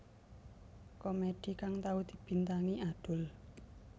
Komedi kang tau dibintangi Adul